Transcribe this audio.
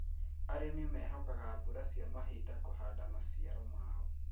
Arĩmi mehokaga mbura cia mahinda kũhanda maciaro mao.